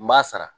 N b'a sara